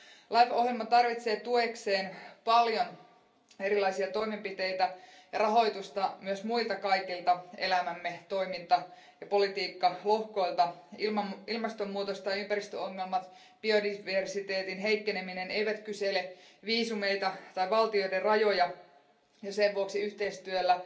LIFE ohjelma tarvitsee tuekseen paljon erilaisia toimenpiteitä ja rahoitusta myös kaikilta muilta elämämme toiminta ja politiikkalohkoilta. Ilmastonmuutos, ympäristöongelmat ja biodiversiteetin heikkeneminen eivät kysele viisumeita tai valtioiden rajoja, ja sen vuoksi yhteistyöllä